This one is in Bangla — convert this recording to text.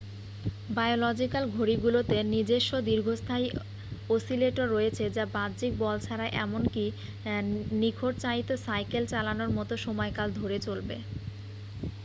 বায়োলজিক্যাল ঘড়িগুলোতে নিজেস্ব দীর্ঘস্থায়ী অসিলেটর রয়েছে যা বাহ্যিক বল ছাড়া এমনকি নিখরচায়িত সাইকেল চালানোর মত সময়কাল ধরে চলবে